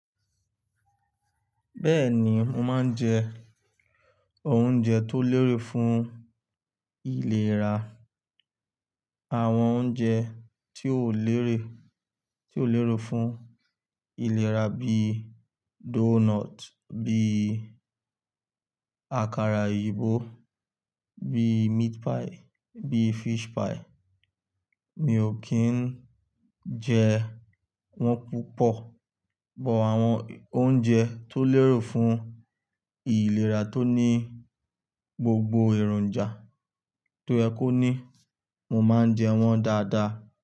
Bẹ́ẹ̀ni, mo máa ń jẹ oúnjẹ tó lérè fún ìlera. Àwọn oúnjẹ tí ó léèrè, tí ó lérò fún ìlera bíi doughnut, bíi àkàrà òyìnbó, bíi meat pie, bíi fish pie. Mi ò kí ń jẹ wọ́n púpọ̀. Bọ̀ àwọn oúnjẹ tó lérò fún ìlera tó ní gbogbo èròjà tó yẹ ko ní, mo máa ń jẹ wọ́n dáadáa.